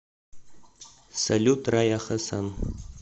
салют рая хасан